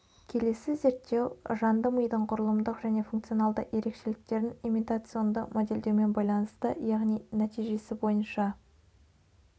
келесі зерттеу жанды мидың құрылымдық және функционады ерекшеліктерін имитационды модельдеумен байланысты яғни нәтижесі бойынша